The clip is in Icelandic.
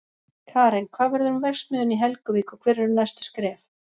Karen, hvað verður um verksmiðjuna í Helguvík og hver eru næstu skref?